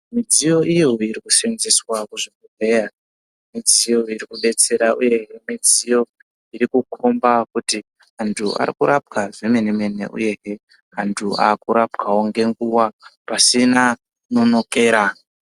Mdziyo iyo iri kusenzeswa kuchibhehlera mudziyo iri kubetsera uye mudziyo irikomba kuti antu arikurapwa zvemenemene uyezve antu ari kurapwa ngenguwa pasina kunonokera.